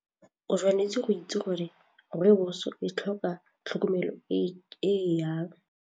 O tshwanetse go itse gore rooibos e tlhoka tlhokomelo e jang.